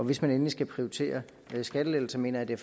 hvis man endelig skal prioritere skattelettelser mener jeg det